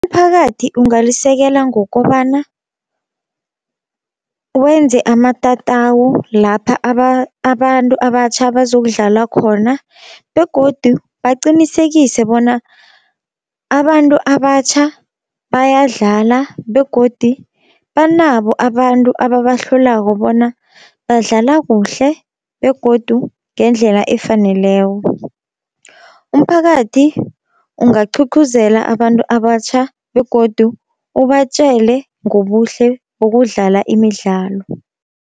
Umphakathi ungalisekela ngokobana wenze amatatawu lapha abantu abatjha bazokudlala khona, begodu baqinisekise bona abantu abatjha bayadlala begodi banabo abantu ababahlolako bona badlala kuhle, begodu ngendlela efaneleko. Umphakathi ungaqhuqhuzela abantu abatjha begodu ubatjele ngobuhle bokudlala imidlalo.